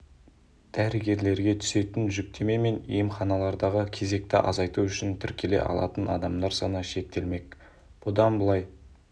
дәрігерлерге түсетін жүктеме мен емханалардағы кезекті азайту үшін тіркеле алатын адамдар саны шектелмек бұдан былай